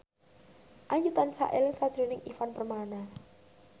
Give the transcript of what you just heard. Ayu tansah eling sakjroning Ivan Permana